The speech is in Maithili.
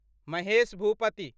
महेश भूपति